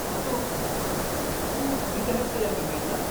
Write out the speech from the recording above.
असो, तू फ्री आहेस का या विकेंडला?